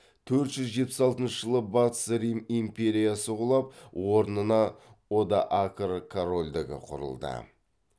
төрт жүз жетпіс алтыншы жылы батыс рим империясы құлап орнына одоакр корольдігі құрылды